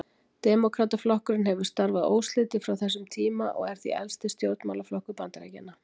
Demókrataflokkurinn hefur starfað óslitið frá þessum tíma og er því elsti stjórnmálaflokkur Bandaríkjanna.